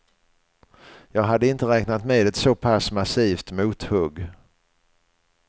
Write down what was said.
Jag hade inte räknat med ett såpass massivt mothugg.